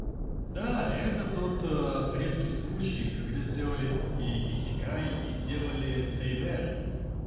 да это тот редкий случай когда сделали и исекай и сделали сэйнэн